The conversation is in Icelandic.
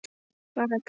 Bara grín!